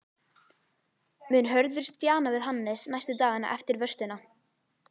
Mun Hörður stjana við Hannes næstu dagana eftir vörsluna?